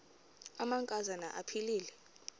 amanka zana aphilele